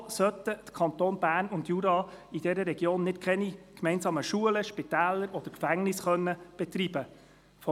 Weshalb sollten die Kantone Bern und Jura in dieser Region keine gemeinsamen Schulen, Spitäler oder Gefängnisse betreiben können?